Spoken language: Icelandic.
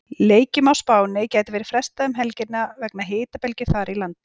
Leikjum á Spáni gæti verið frestað um helgina vegna hitabylgju þar í landi.